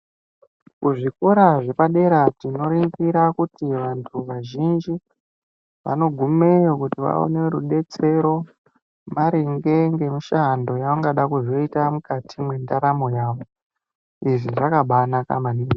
Kuzvikora zvepadera tinoringira kuti vantu vazhinji vanogumeyo kuti vaone rudetsero maringe ngemushando yevanozoda kuita mukati mwendaramo yavo. Izvi zvakabanaka maningi.